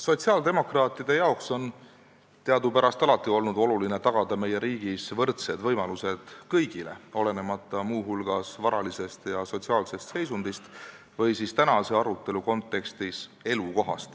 Sotsiaaldemokraatidele on teadupärast alati olnud oluline tagada meie riigis võrdsed võimalused kõigile, muu hulgas olenemata varalisest või sotsiaalsest seisundist või elukohast, mis on tähtis tänase arutelu kontekstis.